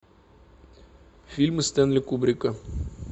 фильмы стэнли кубрика